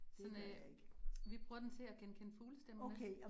Såan en, vi bruger den til at genkende fuglestemmer med